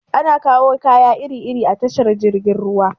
Ana kawo kaya iri iri a tashar jirgin ruwa.